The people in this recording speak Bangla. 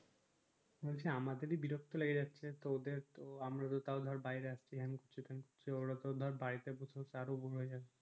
বলছি আমাদেরি বিরক্তি লেগে যাচ্ছে তো ওদের আমরা তো তাও ধর বাহিরে আসছি হেন করছি তেন করছি ওরা তো ধোর বাড়িতে বসে বসে আরো যাচ্ছে